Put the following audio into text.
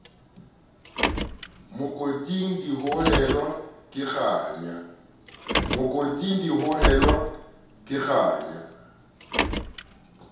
mokoting di hohelwa ke kganya